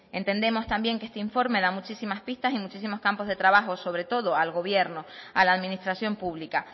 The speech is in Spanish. entendemos también que este informe da muchísimas pistas y muchísimas campos de trabajo sobre todo al gobierno a la administración pública